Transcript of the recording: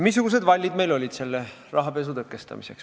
Missugused vallid olid meil selle rahapesu tõkestamiseks?